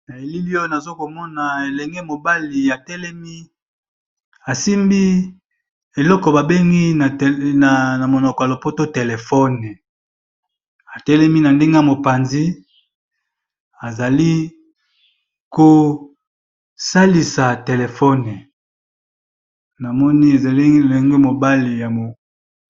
Na elili oyo nazo komona elenge mobali atelemi asimbi eloko ba bengi na monoko ya lopoto telephone, atelemi na ndenge ya mopanzi azali ko salisa telephone na moni ezali elenge mobali ya mok...